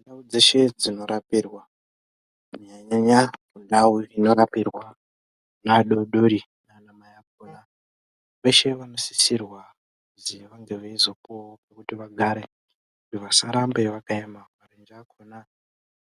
Ndau dzeshe dzinorapirwa kunyanya-nyanya dzinorapirwa ana adodori nanamai vakona. Veshe vanosisira kuzi vange veizopuvavo pekuti vagare kuti vasarambe vakaema marenje akona